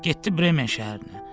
Getdi Bremen şəhərinə.